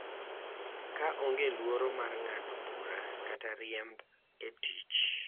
Ka onge luoro mar ng’ado bura kata riemb e tich.